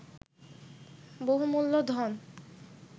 বহুমূল্য ধন